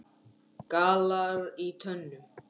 gallar í tönnum